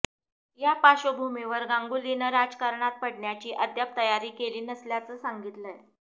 या पार्श्वभूमीवर गांगुलीनं राजकारणात पडण्याची अद्याप तयारी केली नसल्याचं सांगितलंय